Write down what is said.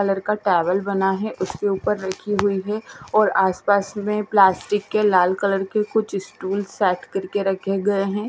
Colour का table बना है उसके ऊपर रखी हुई है और आस पास में प्लास्टिक के लाल कलर के कुछ स्टूल सेट करके रखे गए हैं।